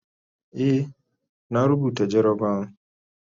Eh, na rubuta jarabawan